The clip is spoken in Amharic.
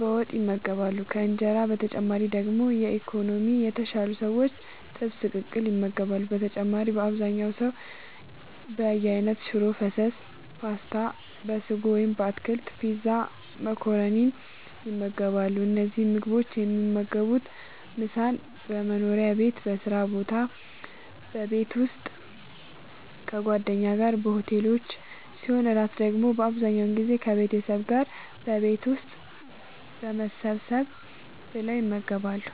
በወጥ ይመገባሉ ከእንጀራ በተጨማሪ ደግሞ በኢኮኖሚ የተሻሉ ሰዎች ጥብስ ቅቅል ይመገባሉ በተጨማሪም አብዛኛው ሰው በየአይነት ሽሮ ፈሰስ ፓስታ(በስጎ ወይም በአትክልት) ፒዛ መኮረኒን ይመርጣሉ። እነዚህን ምግቦች የሚመገቡት ምሳን በመስሪያ ቤት በስራ ቦታ በቤት ውስጥ ከጓደኛ ጋር በሆቴሎች ሲሆን እራት ደግሞ አብዛኛውን ጊዜ ከቤተሰብ ጋር በቤት ውስጥ ሰብሰብ ብለው ይመገባሉ።